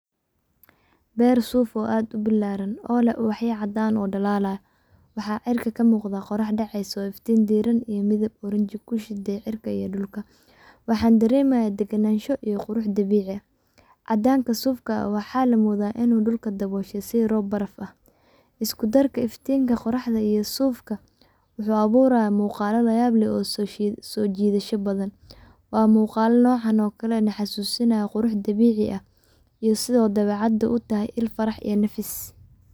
Beer suf ah oo aad u bilaran oo leh uwaxya cadan, waxaa cirka kamuqda orax daceyso iftin diran iyo midib oronji kishide cirka iyo dulka waxan daremaya dagnasho iyo ubax dabici ah cadanka sufka ah waxaa lamodha in u dulka dawoshe sithi baraf iskudarka iftinka iyo qoraxda sufka wuxuu aburaya muqala layab leh oo sojidasho badan waa muqala nocan oo kale tusinaya qurux dabici ah iyo sithe utahay qurax iyo nafis.